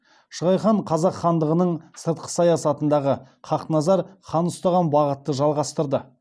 шығай хан қазақ хандығының сыртқы саясатындағы хақназар хан ұстаған бағытты жалғастырды